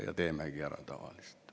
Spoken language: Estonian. Ja teemegi ära tavaliselt.